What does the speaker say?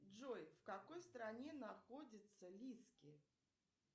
джой в какой стране находится лизки